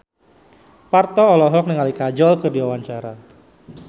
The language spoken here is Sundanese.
Parto olohok ningali Kajol keur diwawancara